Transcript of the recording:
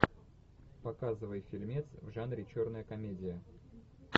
показывай фильмец в жанре черная комедия